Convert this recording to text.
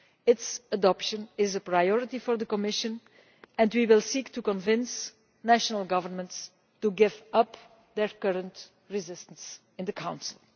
Its adoption is a priority for the Commission and we will seek to convince national governments to give up their current resistance in the Council.